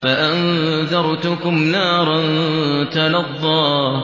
فَأَنذَرْتُكُمْ نَارًا تَلَظَّىٰ